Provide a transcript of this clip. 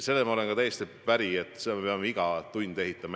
Sellega olen ma ka täiesti päri, et seda silda me peame iga tund edasi ehitama.